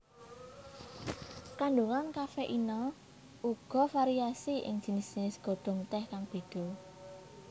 Kandungan kafeina uga variasi ing jinis jinis godhong teh kang beda